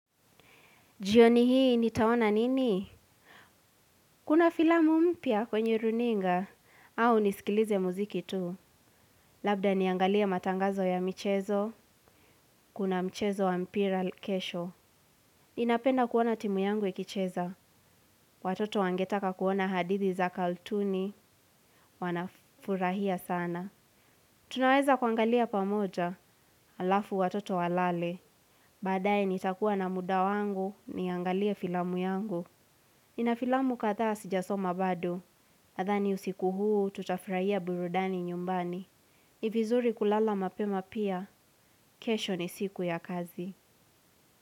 Jioni hii, nitaona nini? Kuna filamu mpya kwenye runinga, au nisikilize muziki tu. Labda niangalie matangazo ya michezo, kuna mchezo wa mpira kesho. Inapenda kuona timu yangu ikicheza. Watoto wangetaka kuona hadithi za kaltuni, wanafurahia sana. Tunaweza kuangalia pamoja, alafu watoto walale. Baadae nitakuwa na muda wangu, niangalie filamu yangu. Ina filamu kathaa sijasoma badu. Nadhani usiku huu, tutafurahia burudani nyumbani. Nivizuri kulala mapema pia, kesho ni siku ya kazi.